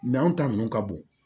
anw ta ninnu ka bon